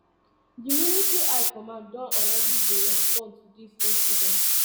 di military high command don already dey respond to dis incident